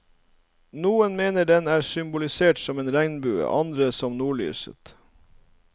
Noen mener den er symbolisert som en regnbue, andre som nordlyset.